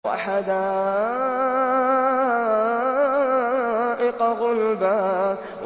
وَحَدَائِقَ غُلْبًا